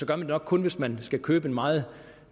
det nok kun hvis man skal købe en meget